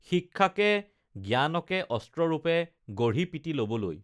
শিক্ষাকে জ্ঞানকে অস্ত্ৰ ৰূপে গঢ়ি পিটি লবলৈ